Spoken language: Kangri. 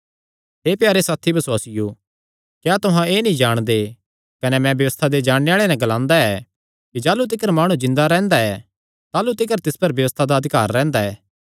हे प्यारे साथी बसुआसियो क्या तुहां एह़ नीं जाणदे कने मैं व्यबस्था दे जाणने आल़ेआं नैं ग्लांदा ऐ कि जाह़लू तिकर माणु जिन्दा रैंह्दा ऐ ताह़लू तिकर तिस पर व्यबस्था दा अधिकार रैंह्दा ऐ